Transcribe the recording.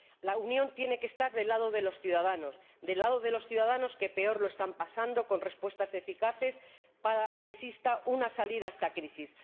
La Unión tiene que estar del lado de los ciudadanos, del lado de los ciudadanos que peor lo están pasando, con respuestas eficaces para que exista una salida a esta crisis.